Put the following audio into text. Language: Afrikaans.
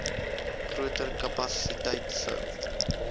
groter kapasiteit sou